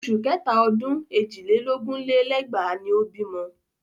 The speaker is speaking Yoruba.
Oṣù kẹta ọdún èjì lé lógún lé lẹ́gbàá ni ó bímọ.